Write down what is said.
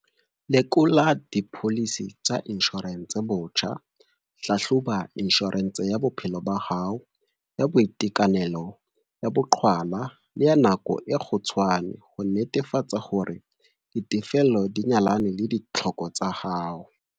Lekola dipholisi tsa inshorense botjha - Hlahloba inshorense ya bophelo ba hao, ya boitekanelo, ya boqhwala le ya nako e kgutshwane ho netefatsa hore ditefello di nyalana le ditlhoko tsa hao.